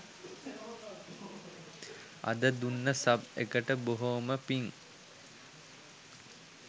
අද දුන්න සබ් එකට බොහොම පින්